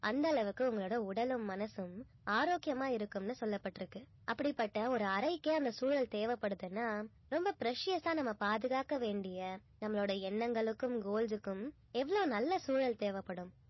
அந்த அளவுக்கு உங்களோட உடலும் மனசும் ஆரோக்கியமா இருக்கும்னு சொல்லப்பட்டிருக்கு அப்படிப்பட்ட ஒரு அறைக்கே அந்த சூழல் தேவைப்படுதுன்னா ரொம்ப precious ஆ நம்ம பாதுகாக்க வேண்டிய நம்மளுடைய எண்ணங்களுக்கும் goals க்கும் எவ்ளோ நல்ல சூழல் தேவைப்படும்